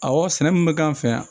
Awɔ sɛnɛ min bɛ k'an fɛ yan